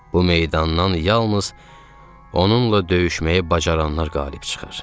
Bu meydandan yalnız onunla döyüşməyi bacaranlar qalib çıxır.